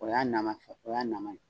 O y'a nan man fɛ , o y'a nan man ye.